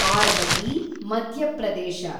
Parbati, Madhya Pradesh